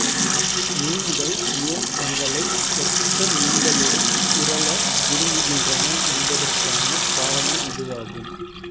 மீன்கள் ஏன் தங்களைப் ஒத்த மீன்களுடன் திரள விரும்புகின்றன என்பதற்கான காரணம் இதுவாகும்